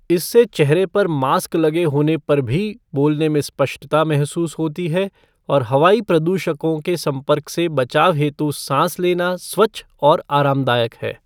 इससे चेहरे पर मास्क लगे होने पर भी बोलने में स्पष्टता महसूस होती है और हवाई प्रदूषकों के संपर्क से बचाव हेतु सांस लेना स्वच्छ और आरामदायक है।